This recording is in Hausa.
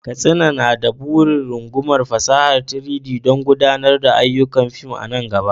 Katsina na da burin rungumar fasahar 3-D don gudanar da ayyukan fim a nan gaba.